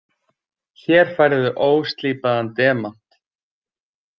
Hér færðu óslípaðan demant.